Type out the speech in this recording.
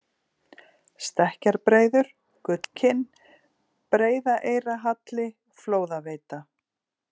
Stekkjarbreiðar, Gullkinn, Breiðaeyrarhalli, Flóðaveita